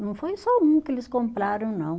Não foi só um que eles compraram, não.